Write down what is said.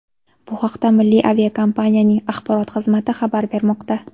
Bu haqda milliy aviakompaniyaning axborot xizmati xabar bermoqda .